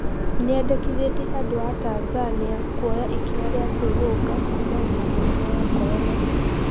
Nĩendekithetie andũ a Tanzania kuoya ikinya ria kwĩhũga kuumana na mũrimo wa korona